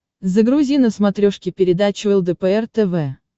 загрузи на смотрешке передачу лдпр тв